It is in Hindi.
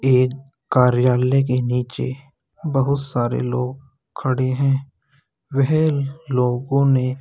ये एक कार्यालय के नीचे बहुत सारे लोग खड़े हैं। वह लोगो ने --